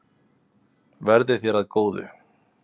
Verði þér að góðu.